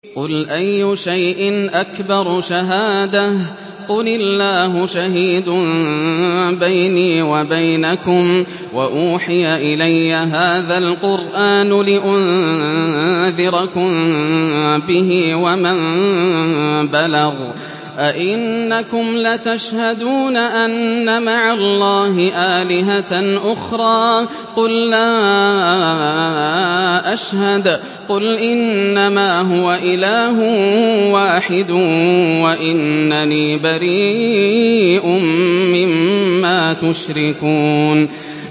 قُلْ أَيُّ شَيْءٍ أَكْبَرُ شَهَادَةً ۖ قُلِ اللَّهُ ۖ شَهِيدٌ بَيْنِي وَبَيْنَكُمْ ۚ وَأُوحِيَ إِلَيَّ هَٰذَا الْقُرْآنُ لِأُنذِرَكُم بِهِ وَمَن بَلَغَ ۚ أَئِنَّكُمْ لَتَشْهَدُونَ أَنَّ مَعَ اللَّهِ آلِهَةً أُخْرَىٰ ۚ قُل لَّا أَشْهَدُ ۚ قُلْ إِنَّمَا هُوَ إِلَٰهٌ وَاحِدٌ وَإِنَّنِي بَرِيءٌ مِّمَّا تُشْرِكُونَ